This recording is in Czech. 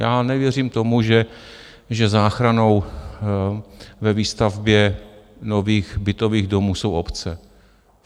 Já nevěřím tomu, že záchranou ve výstavbě nových bytových domů jsou obce.